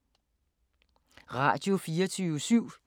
Radio24syv